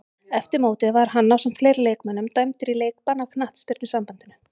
Eftir mótið var hann ásamt fleiri leikmönnum dæmdur í leikbann af knattspyrnusambandinu.